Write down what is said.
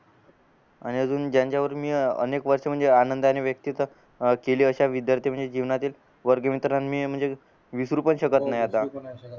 आणि अजून ज्यांच्या बरोबर मी अनेक वर्ष म्हणजे आनंदाने केली अश्या विद्यार्थी म्हणजे जीवनातील वर्गमित्रांनी अह म्हणजे विसरू पण शकत नाय आता